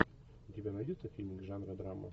у тебя найдется фильм жанра драма